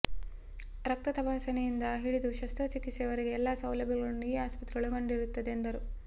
ರಕ್ತ ತಪಾಸಣೆಯಿಂದ ಹಿಡಿದು ಶಸ್ತ್ರ ಚಿಕಿತ್ಸೆ ವರೆಗಿನ ಎಲ್ಲ ಸೌಲಭ್ಯಗಳನ್ನು ಈ ಆಸ್ಪತ್ರೆ ಒಳಗೊಂಡಿರುತ್ತದೆ ಎಂದರು